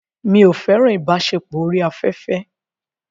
Mi ò fẹ́ràn ìbáṣepọ̀ orí afẹ́fẹ́.